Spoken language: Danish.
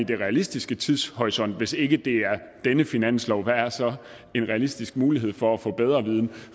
den realistiske tidshorisont hvis ikke det er denne finanslov hvad er så en realistisk mulighed for at få bedre viden